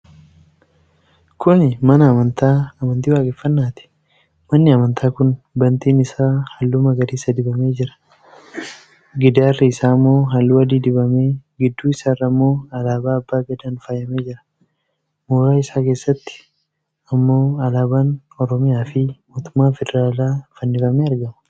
Kuni mana amantaa amantii Waaqeeffannaati. Manni amantaa kun bantiin isaa halluu magariisa dibamee jira. Gidaarri isaammoo halluu adii dibamee, gidduu isaarrammoo alaabaa abbaa gadaan faayamee jira. Mooraa isaa keessatti ammoo Alaabaan Oromiyaa fi Mootummaa Federaalaa fannifamee argama.